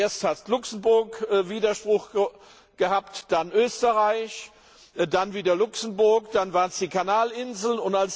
Zuerst hat Luxemburg Widerspruch eingelegt, dann Österreich, dann wieder Luxemburg, dann waren es die Kanal Inseln.